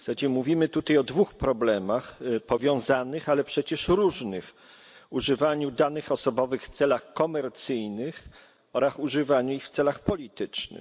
Mówimy tutaj o dwóch problemach, powiązanych, ale przecież różnych używaniu danych osobowych w celach komercyjnych oraz używaniu ich w celach politycznych.